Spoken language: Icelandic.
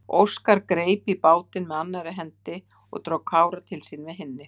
Óskar greip í bátinn með annarri hendi og dró Kára til sín með hinni.